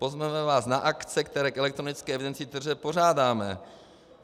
Pozveme vás na akce, které k elektronické evidenci tržeb pořádáme.